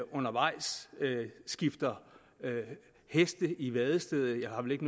undervejs skifter heste i vadestedet jeg har vel ikke